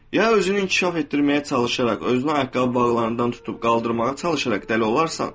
Ya özünü inkişaf etdirməyə çalışaraq, özünü ayaqqabı bağlarından tutub qaldırmağa çalışaraq dəli olarsan.